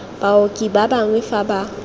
baoki ba bangwe fa ba